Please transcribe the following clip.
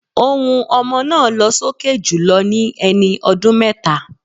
Ohùn ọmọ náà lọ́ sókè jùlọ ní ẹni ọdún méta.